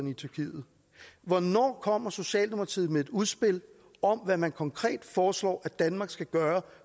i tyrkiet hvornår kommer socialdemokratiet med et udspil om hvad man konkret foreslår at danmark skal gøre